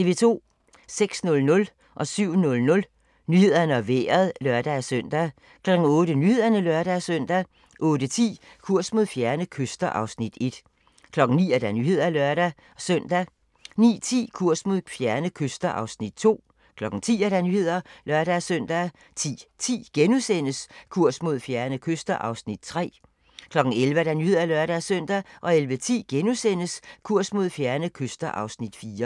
06:00: Nyhederne og Vejret (lør-søn) 07:00: Nyhederne og Vejret (lør-søn) 08:00: Nyhederne (lør-søn) 08:10: Kurs mod fjerne kyster (Afs. 1) 09:00: Nyhederne (lør-søn) 09:10: Kurs mod fjerne kyster (Afs. 2) 10:00: Nyhederne (lør-søn) 10:10: Kurs mod fjerne kyster (Afs. 3)* 11:00: Nyhederne (lør-søn) 11:10: Kurs mod fjerne kyster (Afs. 4)*